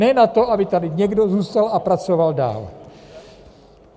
Ne na to, aby tady někdo zůstal a pracoval dál.